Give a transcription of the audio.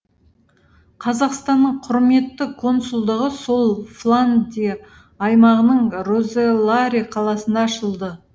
қазақстанның құрметті консулдығы сол фландия аймағының розеларе қаласында ашылды